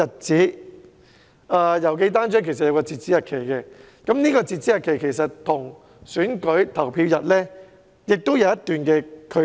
此外，郵寄單張有截止日期，這個日期其實跟選舉投票日有一段距離。